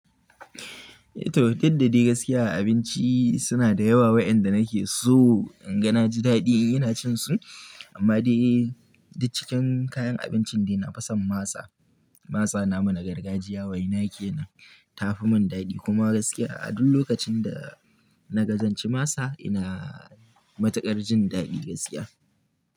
Eh to, duk da dai gaskiya abinci suna da yawa wayanda nake so inga na ji daɗi yana cin su. Amma dai, duk cikin kayan abincin dai nafison masa. Masa na mana gargajiya wai na ke nan tafi mun daɗi kuma gaskiya a duk lokacin da naga zanci masa ina matuƙar jin daɗi gaskiya.